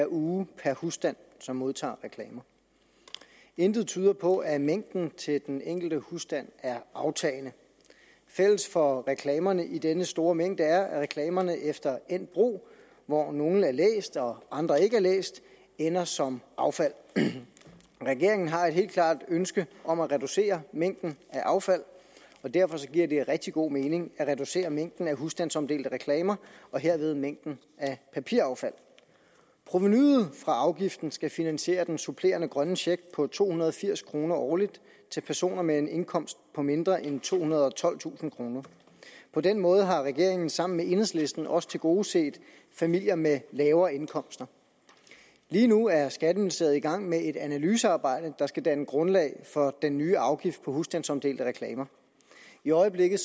uge per husstand som modtager reklamer intet tyder på at mængden til den enkelte husstand er aftagende fælles for reklamerne i denne store mængde er at reklamerne efter endt brug hvor nogle er læst og andre ikke er læst ender som affald regeringen har et helt klart ønske om at reducere mængden af affald og derfor giver det rigtig god mening at reducere mængden af husstandsomdelte reklamer og herved mængden af papiraffald provenuet fra afgiften skal finansiere den supplerende grønne check på to hundrede og firs kroner årligt til personer med en indkomst på mindre end tohundrede og tolvtusind kroner på den måde har regeringen sammen med enhedslisten også tilgodeset familier med lavere indkomster lige nu er skatteministeriet i gang med et analysearbejde der skal danne grundlag for den nye afgift på husstandsomdelte reklamer i øjeblikket